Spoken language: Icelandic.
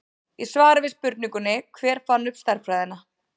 Í svari við spurningunni Hver fann upp stærðfræðina?